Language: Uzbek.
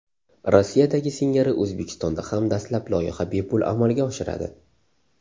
Rossiyadagi singari O‘zbekistonda ham dastlab loyiha bepul amalga oshiradi.